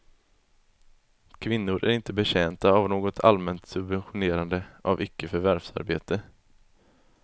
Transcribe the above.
Kvinnor är inte betjänta av något allmänt subventionerande av icke förvärvsarbete.